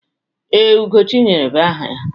Ee, Ugochinyere bụ aha ya.